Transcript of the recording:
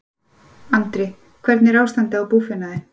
Andri: Hvernig er ástandið á búfénaði?